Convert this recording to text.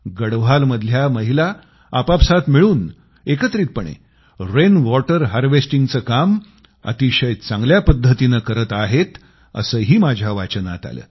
गढवालमधल्या महिला आपआपसात मिळून एकत्रितपणे रेनवॉटर हार्वेस्टिंगचं काम अतिशय चांगल्या पद्धतीनं करीत आहेत असंही माझ्या वाचनात आलं